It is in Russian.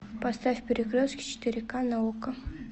поставь перекрестки четыре к на окко